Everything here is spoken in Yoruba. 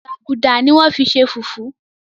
gbágudá ní wón fí ṣe fufu.